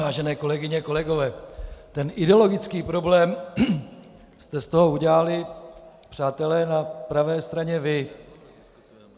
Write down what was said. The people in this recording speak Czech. Vážené kolegyně, kolegové, ten ideologický problém jste z toho udělali, přátelé na pravé straně, vy.